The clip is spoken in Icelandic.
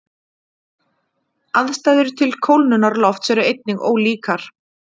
Aðstæður til kólnunar lofts eru einnig ólíkar.